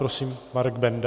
Prosím, Marek Benda.